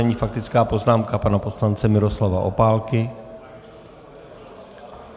Nyní faktická poznámka pana poslance Miroslava Opálky.